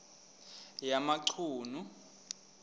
yamachunu